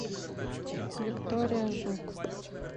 виктория жук